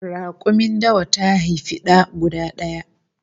Rakumin dawa ta haifi da guda daya